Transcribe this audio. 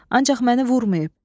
Ancaq məni vurmayıb.